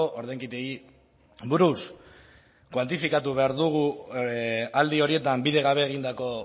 ordainketei buruz kuantifikatu behar dugu aldi horietan bidegabe egindako